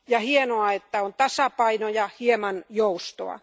Hienoa, että on tasapaino ja hieman joustoa.